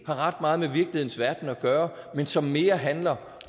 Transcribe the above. ret meget med virkelighedens verden at gøre men som mere handler